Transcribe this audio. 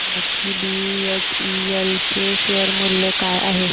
हे सांगा की बीएचईएल चे शेअर मूल्य काय आहे